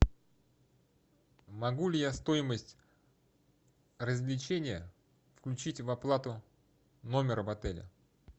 могу ли я стоимость развлечения включить в оплату номера в отеле